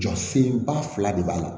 Jɔ senba fila de b'a la